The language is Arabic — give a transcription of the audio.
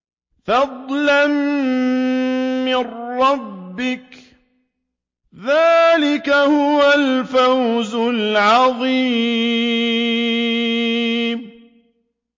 فَضْلًا مِّن رَّبِّكَ ۚ ذَٰلِكَ هُوَ الْفَوْزُ الْعَظِيمُ